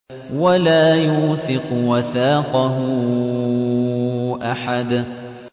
وَلَا يُوثِقُ وَثَاقَهُ أَحَدٌ